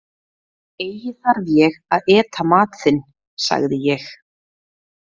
Eigi þarf ég að eta mat þinn, sagði ég.